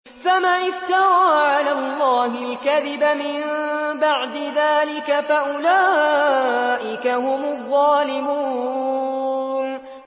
فَمَنِ افْتَرَىٰ عَلَى اللَّهِ الْكَذِبَ مِن بَعْدِ ذَٰلِكَ فَأُولَٰئِكَ هُمُ الظَّالِمُونَ